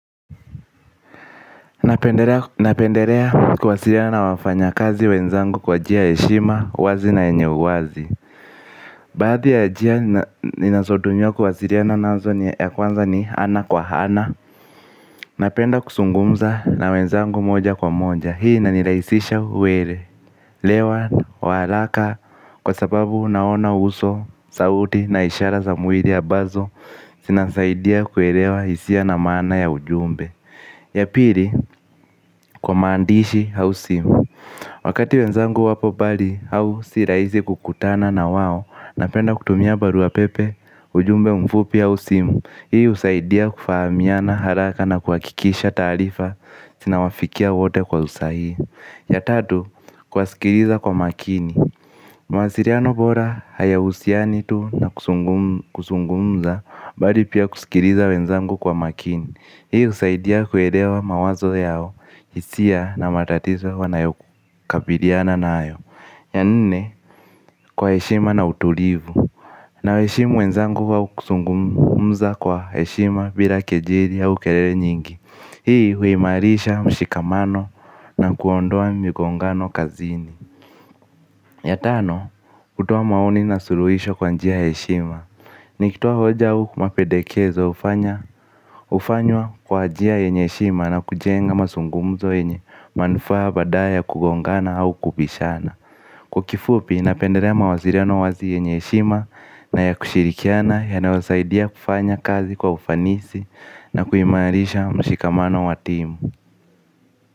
Napendelea kuwasiliana wafanya kazi wenzangu kwa njia ya heshima uwazi na yenye uwazi. Baadhi ya njia ninazotumia kuwasilia na nazo ya kwanza ni ana kwa hana. Napenda kusungumza na wenzangu moja kwa moja hii na nirahisisha uwele lewa waharaka kwa sababu naona uso, sauti na ishara za mwili ya ambazo zinanisaidia kuelewa hisia na maana ya ujumbe. Ya pili, kwa maandishi hausimu. Wakati wenzangu wapo bali, hausiraizi kukutana na wao. Napenda kutumia baruapepe, ujumbe mfupi ausimu. Hii usaidia kufahamiana haraka na kwa kikisha taarifa zina wafikia wote kwa usahihi. Ya tatu, kuwa sikiriza kwa makini. Mawasiliano bora, haya usianitu na kuzungumza. Bali pia kusikiliza wenzangu kwa makini. Hii usaidia kuelewa mawazo yao, hisia na matatizo wanayo kabiliana na ayo. Ya nne, kwa heshima na utulivu. Na heshima wenzanguwa kuzungumza kwa heshima bila kejeri au kelele nyingi. Hii huimarisha mshikamano na kuondoa migongano kazini. Ya tano, kutowa maoni na suluhisho kwa njia heshima nikitoa hoja au mapendekezo hufanywa kwa njia yenye heshima na kujenga mazungumzo yenye manufaa badala ya kugongana au kubishana. Kwakifupi na pendelea ma wasiliano wazi yenye shima na ya kushirikiana ya nayosaidia kufanya kazi kwa ufanisi na kuimarisha mshikamano wa timu.